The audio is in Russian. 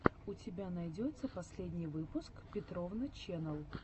у тебя найдется последний выпуск петровна ченнэл